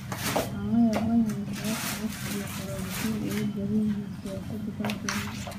Waxaan la yaabanahay sababta eex iyo qaraabo kiil ugu badan yahay siyaasadda dalkeena.